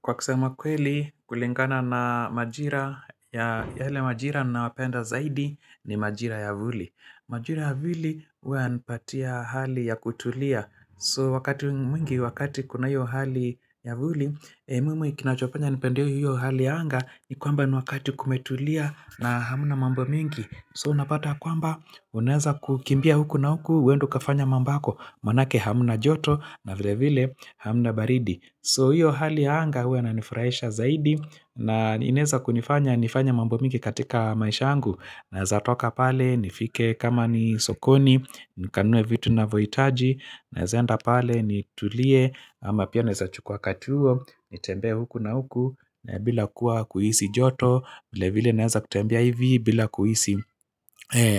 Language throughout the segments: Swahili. Kwa kusema kweli, kulingana na majira, ya yale majira nawapenda zaidi ni majira ya vuli. Majira ya vuli huwa yanipatia hali ya kutulia. So wakati mwingi, wakati kuna hiyo hali ya vuli, mimi kinachofanya nipende hiyo hali ya anga, ni kwamba ni wakati kumetulia na hamuna mambo mingi. So unapata ya kwamba unaweza kukimbia huku na huku uende ukafanye mambo yako maanake hamuna joto na vile vile hamuna baridi so hiyo hali ya anga huwa inanifurahisha zaidi na inaweza kunifanya nifanya mambo mingi katika maisha yangu Naweza toka pale nifike kama ni sokoni nikanunue vitu ninavyohitaji Nazenda pale nitulie ama pia naeza chukua katuo Nitembee huku na huku bila kuwa kuhisi joto vile vile naeza kutembea hivi bila kuhisi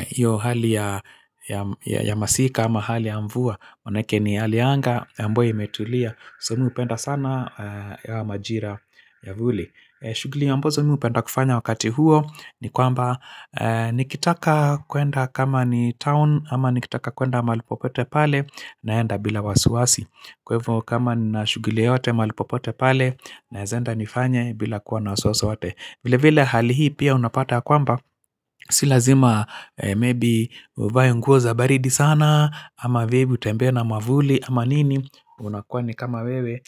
hio hali ya ya masika ama hali ya mvua Oneke ni hali anga ambayo imetulia So mi hupenda sana majira ya vuli shughuli ambazo mi hupenda kufanya wakati huo ni kwamba nikitaka kuenda kama ni town ama nikitaka kuenda mahali popote pale naenda bila wasiwasi Kwa hivyo kama nina shughuli yoyote mahali popote pale Naezaenda nifanye bila kuwa na wasiwasi wote vile vile hali hii pia unapata ya kwamba Si lazima maybe uvae nguo za baridi sana ama vile utembee na mwavuli ama nini unakuwa ni kama wewe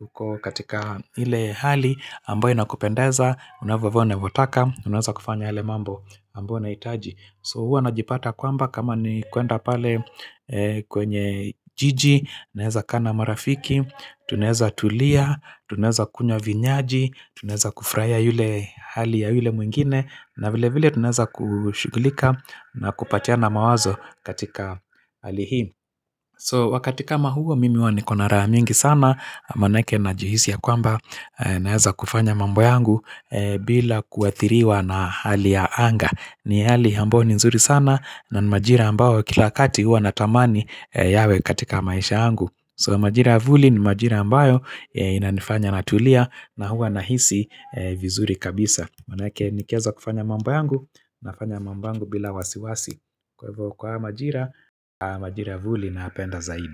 uko katika ile hali ambayo inakupendeza, unavyovaa unavyotaka Unaweza kufanya yale mambo, ambayo unahitaji so huwa najipata kwamba kama ni kuenda pale kwenye jiji naweza kaa na marafiki, tunaweza tulia, tunaweza kunywa vinyaji tunaweza kufurahia ile hali ya yule mwingine na vile vile tunaweza kushughulika na kupatiana mawazo katika hali hii So wakati kama huo mimi huwa niko na raha mingi sana maanake najihisi ya kwamba Naeza kufanya mambo yangu bila kuathiriwa na hali ya anga ni hali ambao ni nzuri sana na ni majira ambao kila wakati huwa natamani yawe katika maisha yangu So majira ya vuli ni majira ambayo inanifanya natulia na huwa nahisi vizuri kabisa maanake nikiweza kufanya mambo yangu nafanya mambo yangu bila wasiwasi kwa hivyo kwa hayo majira, majira ya vuli nayapenda zaidi.